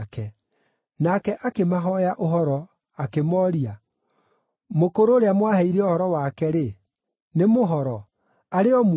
Nake akĩmahooya ũhoro, akĩmooria, “Mũkũrũ ũrĩa mwaheire ũhoro wake-rĩ, nĩ mũhoro? Arĩ o muoyo?”